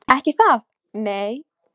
Ekki það, nei?